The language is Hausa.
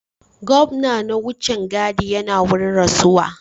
Gwamnan na wucin gadi yana wurin rantsuwa